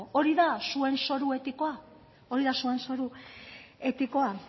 hori da zuen zoru etikoa